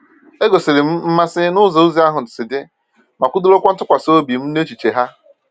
E gosiri m mmasị n’ụzọ ozi ahụ si dị, ma kwudorokwa ntụkwasị obi m n’echiche ha.